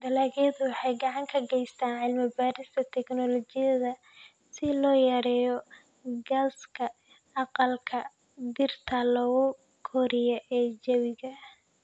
Dalagyadu waxay gacan ka geystaan ??cilmi-baarista tignoolajiyada si loo yareeyo gaaska aqalka dhirta lagu koriyo ee jawiga.